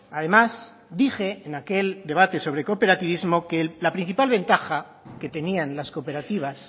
además dije en aquel debate sobre cooperativismo que la principal ventaja que tenían las cooperativas